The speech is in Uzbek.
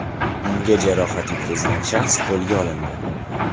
Unga jarohat yetkazgan shaxs qo‘lga olindi.